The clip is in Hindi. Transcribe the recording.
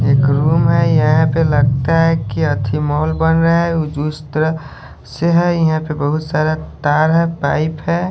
एक रूम है यहां पे लगता है की अच्छा मॉल बन रहा है उस तरह से है यहां पे बहुत सारा तार है पाइप है।